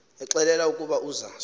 exelelwa ukuba uza